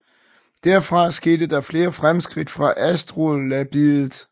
Derfra skete der flere fremskridt af astrolabiet